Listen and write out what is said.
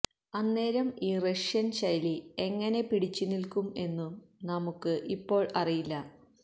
അന്നേരം ഈ റഷ്യൻ ശൈലി എങ്ങനെ പിടിച്ചുനിൽക്കും എന്നും നമുക്ക് ഇപ്പോൾ അറിയില്ല